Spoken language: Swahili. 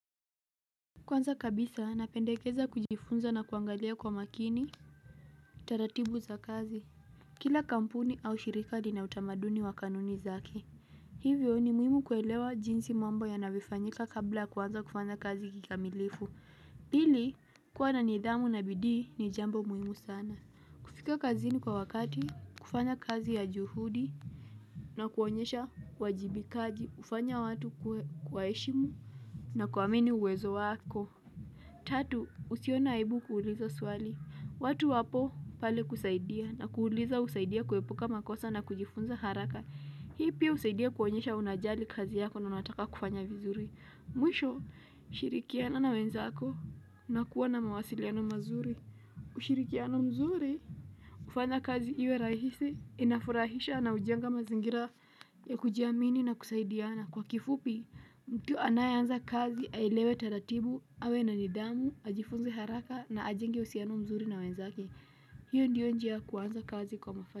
Kwanza kabisa, napendekeza kujifunza na kuangalia kwa makini, taratibu za kazi. Kila kampuni au shirika lina utamaduni wa kanuni zaki. Hivyo ni muhimu kuelewa jinsi mambo ya navifanyika kabla kwanza kufanya kazi kikamilifu. Hili, kuwa na nidhamu na bidii ni jambo muhimu sana. Kufika kazini kwa wakati, kufanya kazi ya juhudi na kuonyesha wajibikaji ufanya watu kwa eshimu na kuamini uwezo wako. Tatu, usione aibu kuuliza swali. Watu wapo pale kusaidia na kuuliza usaidia kuwepuka makosa na kujifunza haraka. Hii pia usaidia kuonyesha unajali kazi yako na unataka kufanya vizuri. Mwisho, ushirikiana na wenzako. Na kuwa na mawasiliana mazuri. Ushirikiano mzuri, ufanya kazi iwe rahisi, inafurahisha na ujenga mazingira ya kujiamini na kusaidiana. Na kwa kifupi, mtu anayanza kazi, ailewe tatatibu, awe na nidamu, ajifunze haraka na ajengi usiano mzuri na wenzake. Hiyo ndiyo njia kuwanza kazi kwa mafanikio.